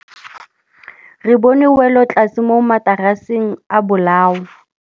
Re bone wêlôtlasê mo mataraseng a bolaô.